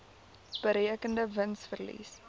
berekende wins verlies